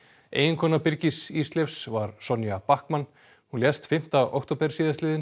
eiginkona Birgis Ísleifs var Sonja Backman hún lést fimmta október